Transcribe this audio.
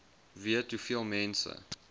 weet hoeveel mense